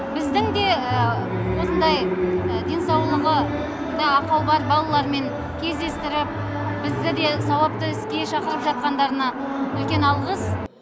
біздің де осындай денсаулығы да ақау бар балалармен кездестіріп бізді де сауапты іске шақырып жатқандарына үлкен алғыс